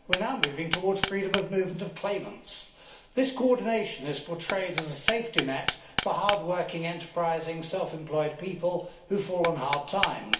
We are now moving towards freedom of movement of claimants. This coordination is portrayed as a safety net for hard working, enterprising, self employed people who fall on hard times.